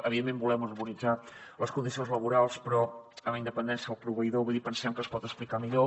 evidentment volem harmonitzar les condicions laborals però amb independència del proveïdor vull dir pensem que es pot explicar millor